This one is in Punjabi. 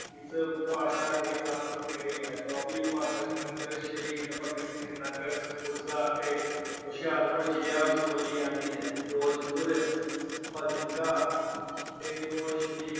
ਇਸ ਭਾਸ਼ਾ ਦੇ ਸਭ ਤੋਂ ਨੇੜੇ ਹੈ। ਦੁਆਬੀ ਉਪਭਾਸ਼ਾ ਜਲੰਧਰ, ਸ਼ਹੀਦ ਭਗਤ ਸਿੰਘ ਨਗਰ, ਕਪੂਰਥਲਾ ਅਤੇ ਹੁਸ਼ਿਆਰਪੁਰ ਜ਼ਿਲ੍ਹਿਆਂ ਵਿੱਚ ਬੋਲੀ ਜਾਂਦੀ ਹੈ। ਫਿਰੋਜਪੁਰ, ਫਾਜਿਲਕਾ, ਫਰੀਦਕੋਟ, ਸ਼੍ਰੀ